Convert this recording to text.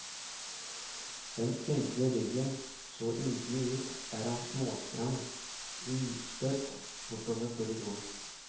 Den spinkle ryggen så ynkelig ut der han småsprang ustøtt bortover korridoren.